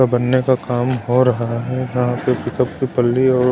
बनने का काम हो रहा है यहां पे पिकअप की पल्ली और--